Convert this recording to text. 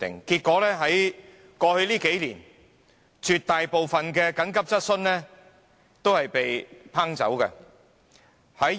結果在過去數年，絕大部分緊急質詢申請均不獲批准。